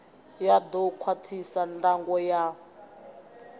ya ḓo khwaṱhisa ndango ya